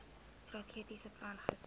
strategiese plan gister